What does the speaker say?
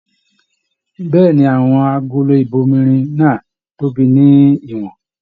Bẹ̀ẹ́ni, àwọn agolo ibòmírin náà tóbi ní ìwòn.